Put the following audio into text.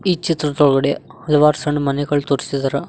ಈ ಚಿತ್ರದೊಳಗಡೆ ಹಲವಾರು ಸಣ್ಣ ಮನೆಗಳು ತೋರ್ಸಿದಾರ.